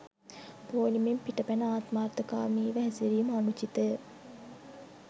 පෝලිමෙන් පිට පැන ආත්මාර්ථකාමීව හැසිරීම අනුචිතය.